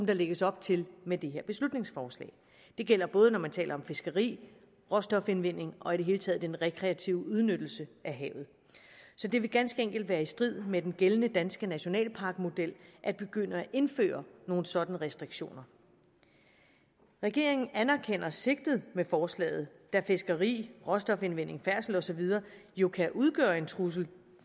der lægges op til med det her beslutningsforslag det gælder både når man taler om fiskeri råstofindvinding og i det hele taget den rekreative udnyttelse af havet så det vil ganske enkelt være i strid med den gældende danske nationalparkmodel at begynde at indføre nogle sådanne restriktioner regeringen anerkender sigtet med forslaget da fiskeri råstofindvinding færdsel og så videre jo kan udgøre en trussel